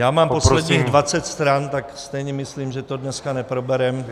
Já mám posledních dvacet stran, tak stejně myslím, že to dneska neprobereme.